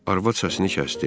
Arvad səsini kəsdi.